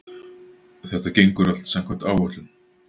Þetta gengur allt samkvæmt áætlun